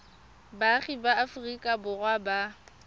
baagi ba aforika borwa ba